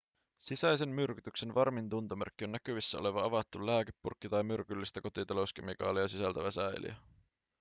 sisäisen myrkytyksen varmin tuntomerkki on näkyvissä oleva avattu lääkepurkki tai myrkyllistä kotitalouskemikaalia sisältävä säiliö